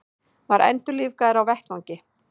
Var endurlífgaður á vettvangi